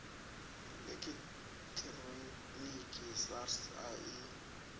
ḽekhi ṱhironiki sars a i